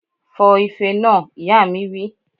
Fọ ife náà! Ìyá mi wí